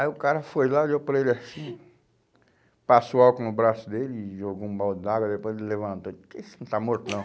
Aí o cara foi lá, olhou para ele assim, passou álcool no braço dele e jogou um balde d'água, depois ele levantou e disse, que isso, não está morto não.